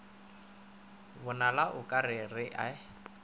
bonala o ka re e